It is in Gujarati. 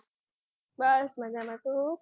બસ મજામાં છુ.